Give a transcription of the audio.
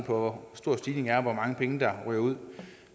på hvor stor stigningen er og hvor mange penge der ryger ud